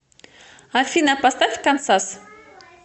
афина поставь кансас